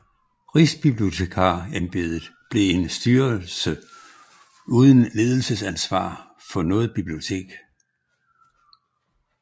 Rigsbibliotekarembedet blev en styrelse uden ledelsesansvar for noget bibliotek